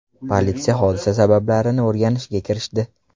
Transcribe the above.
Politsiya hodisa sabablarini o‘rganishga kirishdi.